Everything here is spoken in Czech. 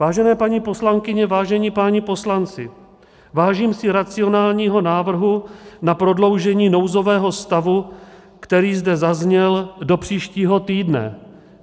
Vážené paní poslankyně, vážení páni poslanci, vážím si racionálního návrhu na prodloužení nouzového stavu, který zde zazněl do příštího týdne.